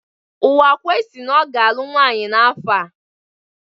Uwakwe si na ọ ga-alụ nwaanyị n'afọ a.